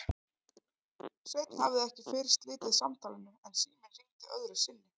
Sveinn hafði ekki fyrr slitið samtalinu en síminn hringdi öðru sinni.